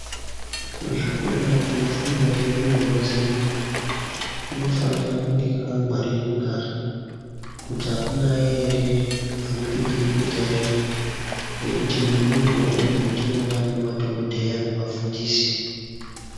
kuzvikora kunofundwa ngendumurwa dzedu kunofanira kunge kwakangwaririka kuti akunayi ere, kuti akupindi bukuta ere nekuti mundumurwa umu ndimo mune madhokodheya nevafundisi.